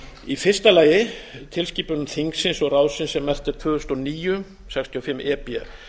í fyrsta lagi tilskipun evrópuþingsins og ráðsins sem merkt tvö þúsund og níu sextíu og fimm e b